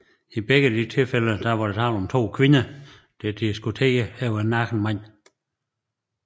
I begge de tilfælde var der dog tale om to kvinder der diskuterede overfor en nøgen mand